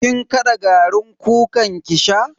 Kin kada garin kukan ki sha?